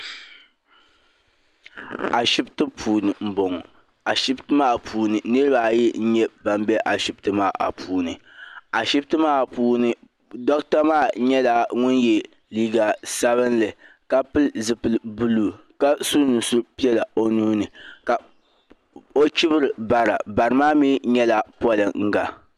Ashibiti puuni m bɔŋɔ ashibiti maa puuni niriba ayi n nyɛ ban bɛ ashibiti maa puuni ashibiti maa puuni docta maa nyɛla ŋun yɛ liiga sabinli ka pili zipili buluu ka su nusuri piɛlla o nuuni ka o chibiri bara barimaa mi nyɛla pɔlinga.